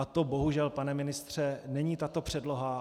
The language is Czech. A to bohužel, pane ministře, není tato předloha.